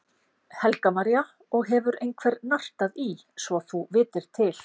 Helga María: Og hefur einhver nartað í svo þú vitir til?